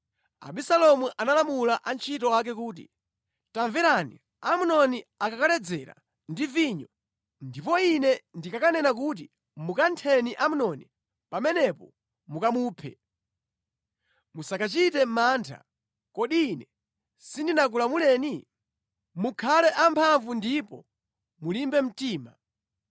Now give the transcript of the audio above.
Abisalomu analamula antchito ake kuti, “Tamverani! Amnoni akakaledzera ndi vinyo ndipo ine ndikakanena kuti, ‘Mukantheni Amnoni,’ pamenepo mukamuphe. Musakachite mantha. Kodi ine sindinakulamuleni? Mukhale amphamvu ndipo mulimbe mtima.”